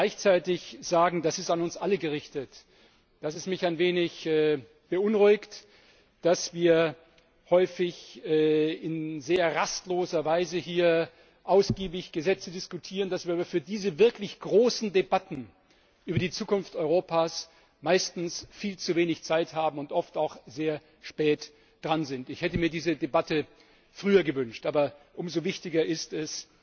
Ich möchte gleichzeitig sagen das ist an uns alle gerichtet dass es mich ein wenig beunruhigt, dass wir hier häufig in sehr rastloser Weise ausgiebig Gesetze diskutieren, dass wir aber für diese wirklich großen Debatten über die Zukunft Europas meistens viel zu wenig Zeit haben und oft auch sehr spät dran sind. Ich hätte mir diese Debatte früher gewünscht. Aber umso wichtiger ist es,